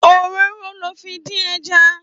Óróró lò fi ndin èjà